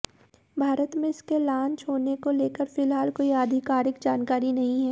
भारत में इसके लॉन्च होने को लेकर फिलहाल कोई आधिकारिक जानकारी नहीं है